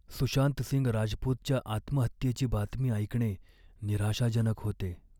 सुशांत सिंग राजपूतच्या आत्महत्येची बातमी ऐकणे निराशाजनक होते.